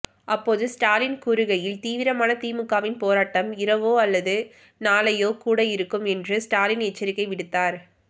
அப்போது ஸ்டாலின் கூறுகையில் தீவிரமான திமுகவின் போராட்டம் இரவோ அல்லது நாளையோ கூட இருக்கும் என்று ஸ்டாலின் எச்சரிக்கை விடுத்தார்